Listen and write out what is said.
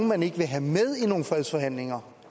man ikke vil have med i nogle fredsforhandlinger